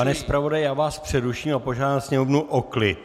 Pane zpravodaji, já vás přeruším a požádám Sněmovnu o klid.